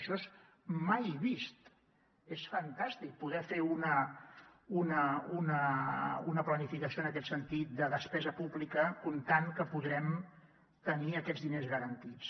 això és mai vist és fantàstic poder fer una planificació en aquest sentit de despesa pública comptant que podrem tenir aquests diners garantits